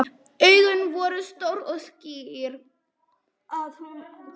Augun voru stór og skýr.